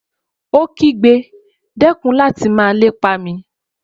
Ó kígbe, dẹ́kun láti máa lépa mi!